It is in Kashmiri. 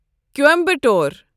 کوایمبَٹور